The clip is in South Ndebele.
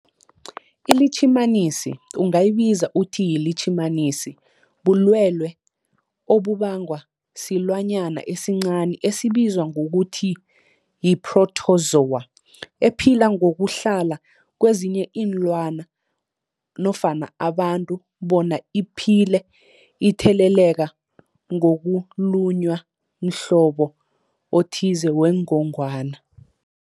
iLitjhimanisi ungayibiza uthiyilitjhimanisi, bulwelwe obubangwa silwanyana esincani esibizwa ngokuthiyi-phrotozowa ephila ngokuhlala kezinye iinlwana nofana abantu bona iphile itheleleka ngokulunywa mhlobo othize wengogwana.